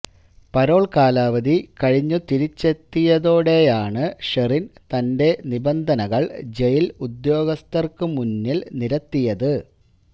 parole കാലാവധി കഴിഞ്ഞു തിരിച്ചെത്തിയതോടെയാണു ഷെറിൻ തന്റെ നിബന്ധനകൾ ജയിൽ ഉദ്യോഗസ്ഥർക്കു മുന്നിൽ നിരത്തിയത്